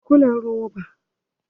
Akwai cokulan roba.